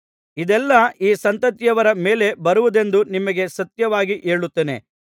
ಇದೆಲ್ಲಾ ಈ ಸಂತತಿಯವರ ಮೇಲೆ ಬರುವುದೆಂದು ನಿಮಗೆ ಸತ್ಯವಾಗಿ ಹೇಳುತ್ತೇನೆ